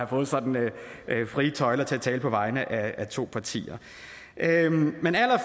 fået sådan frie tøjler til at tale på vegne af to partier men